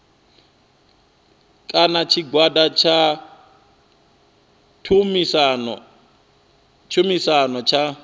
kana tshigwada tsha tshumisano tsha